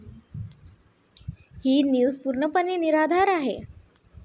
ही news पूर्णपणे निराधार आहे.